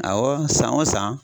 Awɔ san o san.